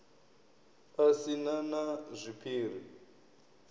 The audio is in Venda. a si na na zwiphiri